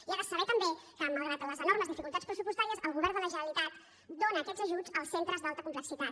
i ha de saber també que malgrat les enormes dificultats pressupostàries el govern de la generalitat dóna aquests ajuts als centres d’alta complexitat